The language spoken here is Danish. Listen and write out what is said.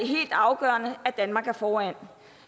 helt afgørende at danmark er foran